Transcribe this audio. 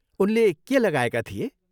उनले के लगाएका थिए?